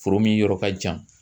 Foro min yɔrɔ ka jan